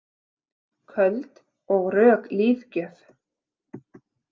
Köld og rök lífgjöf.